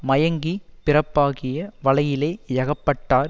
மயங்கிப் பிறப்பாகிய வலையிலே யகப்பட்டார்